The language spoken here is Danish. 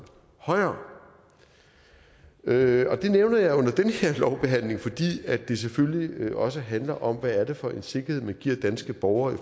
højere det nævner jeg under den her lovbehandling fordi det selvfølgelig også handler om hvad det er for en sikkerhed man giver danske borgere i